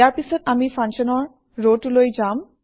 ইয়াৰ পিছত আমি Functionৰ ৰটোলৈ যাম